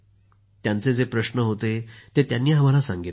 त्यांचे जे प्रश्न होते ते सांगितले